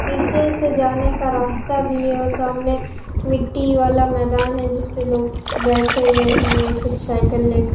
नीचे से जाने का रास्ता भी है और सामने मिट्टी वाला मैदान है जिसपे लोग बैठे हुए हैं कुछ साइकल लेक--